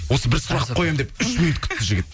осы бір сұрақ қоямын деп үш минут күтті жігіт